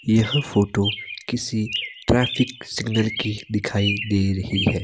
यह फोटो किसी traffic signal की दिखाई दे रही है।